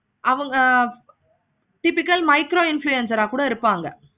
ஆஹ் அவங்க typical micro influencer ஆஹ் இருப்பாங்க.